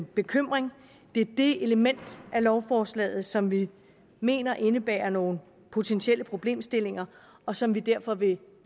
bekymring det er det element i lovforslaget som vi mener indebærer nogle potentielle problemstillinger og som vi derfor vil